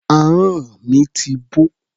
Ahọ́n mi ti bó.